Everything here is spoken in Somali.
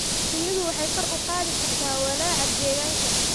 Shinnidu waxay kor u qaadi kartaa walaaca deegaanka.